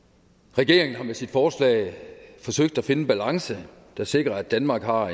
regeringen har med sit forslag forsøgt at finde en balance der sikrer at danmark har